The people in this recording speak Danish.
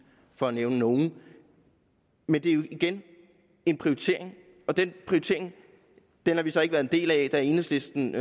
for at nævne nogle men det er jo igen en prioritering og den prioritering har vi så ikke været en del af da enhedslisten